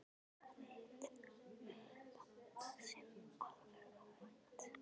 Hafði hitt pabba sinn alveg óvænt.